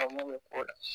A mun bɛ ko la